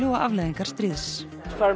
og afleiðingar stríðs